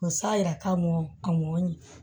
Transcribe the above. U sa yira k'a mɔn a mɔn